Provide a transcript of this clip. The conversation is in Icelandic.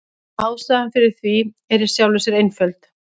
Ástæðan fyrir því er í sjálfu sér einföld.